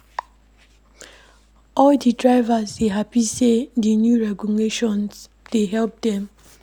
All di drivers dey hapi sey di new regulations dey help dem.